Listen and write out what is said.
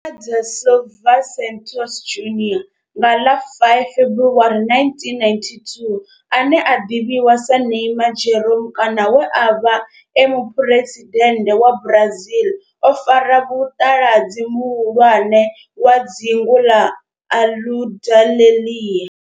Neymar da Silva Santos Junior nga ḽa 5 February 1992, ane a ḓivhiwa sa Neymar Jeromme kana we a vha e muphuresidennde wa Brazil o fara muṱaladzi muhulwane wa dzingu na Aludalelia.